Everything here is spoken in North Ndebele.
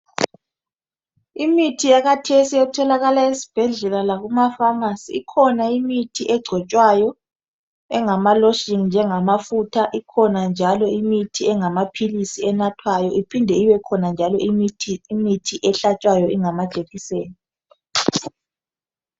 Imithi yakhathesi etholakala ezibhedlela lakuma famasi, ikhona imithi egcotshwayo engamaloshini nje ngamafutha, iphinde ibekhona imithi enathwayo njengamaphilizi, iphinde njalo ibe khona imithi ehlatshwayo engama jekiseni.